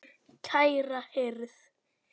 Kæra hirð.